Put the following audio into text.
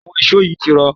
àwọn èṣó yìí ti rọ̀